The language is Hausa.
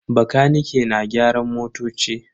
Bakanike na gyaran motoci.